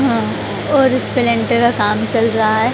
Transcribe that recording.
अह और इसपे लेंटर का काम चल रहा है।